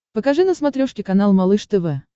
покажи на смотрешке канал малыш тв